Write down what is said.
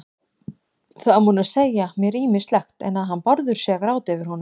Það má nú segja mér ýmislegt, en að hann Bárður sé að gráta yfir honum